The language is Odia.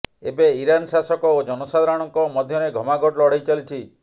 ଏବେ ଇରାନ୍ ଶାସକ ଓ ଜନସାଧାରଣଙ୍କ ମଧ୍ୟରେ ଘମାଘୋଟ୍ ଲଢେଇ ଚାଲିଛି